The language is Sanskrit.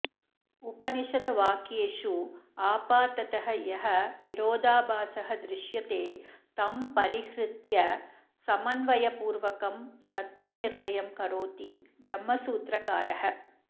उपनिषद्वाक्येषु आपाततः यः विरोधाभासः दृश्यते तं परिहृत्य समन्वयपूर्वकं तत्त्वनिर्णयं करोति ब्रह्मसूत्रकारः